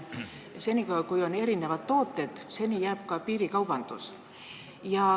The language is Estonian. Senikaua, kui on erinevad tooted, jääb ka piirikaubandus.